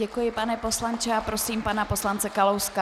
Děkuji, pane poslanče, a prosím pana poslance Kalouska.